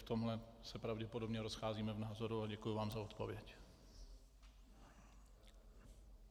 V tomhle se pravděpodobně rozcházíme v názoru a děkuji vám za odpověď.